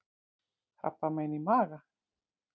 KRABBAMEIN Í MAGA